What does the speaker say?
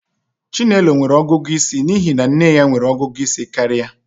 Chinelo nwere ọgụgụ isi n'ihi na nne ya nwere ọgụgụ isi karịa